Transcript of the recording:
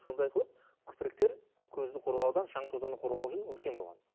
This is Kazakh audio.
сонда айтылады көзді қоғауда шаң тозаңнан қорғау үшін үлкен болған